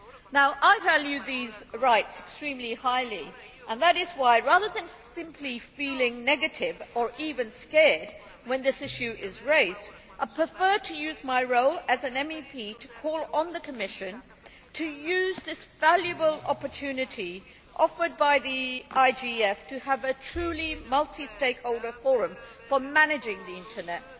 Now I value these rights extremely highly and that is why, rather than simply feeling negative or even scared when this issue is raised, I prefer to use my role as an MEP to call on the Commission to use this valuable opportunity offered by the IGF for a truly multi stakeholder forum for managing the internet.